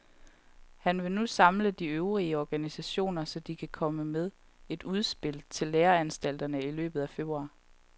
Han vil nu samle de øvrige organisationer, så de kan komme med et udspil til læreanstalterne i løbet af februar.